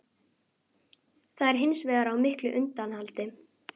Það er hins vegar á miklu undanhaldi